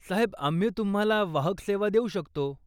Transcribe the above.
साहेब आम्ही तुम्हाला वाहक सेवा देऊ शकतो.